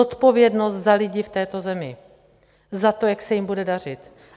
Zodpovědnost za lidi v této zemi, za to, jak se jim bude dařit.